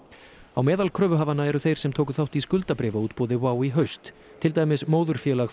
á meðal kröfuhafanna eru þeir sem tóku þátt í skuldabréfaútboði WOW í haust til dæmis móðurfélag